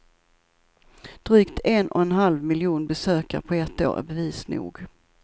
Drygt en och en halv miljon besökare på ett år är bevis nog.